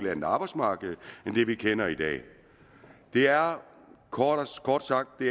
andet arbejdsmarked end det vi kender i dag det er kort kort sagt det